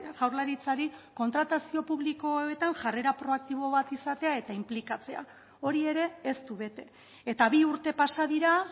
jaurlaritzari kontratazio publikoetan jarrera proaktibo bat izatea eta inplikatzea hori ere ez du bete eta bi urte pasa dira